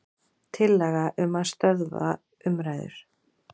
Tillaga um að stöðva umræður.